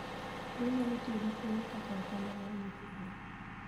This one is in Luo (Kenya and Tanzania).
Be inyalo tiyo gi kwoyo kaka otanda mar nyithi gwen?